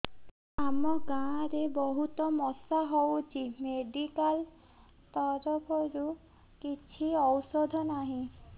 ଆମ ଗାଁ ରେ ବହୁତ ମଶା ହଉଚି ମେଡିକାଲ ତରଫରୁ କିଛି ଔଷଧ ନାହିଁ